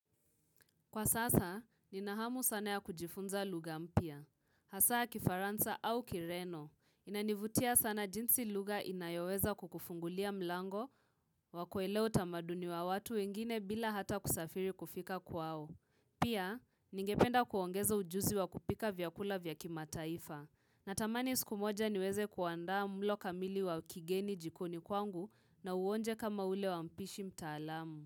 Kwa sasa, nina hamu sana ya kujifunza lugha mpya. Hasaa kifaransa au kireno, inanivutia sana jinsi lugha inayoweza kukufungulia mlango, wakuelewa utamaduni wa watu wengine bila hata kusafiri kufika kwao. Pia, ningependa kuongeza ujuzi wa kupika vyakula vya kimataifa. Natamani siku moja niweze kuandaa mlo kamili wa kigeni jikoni kwangu na uonje kama ule wa mpishi mtaalamu.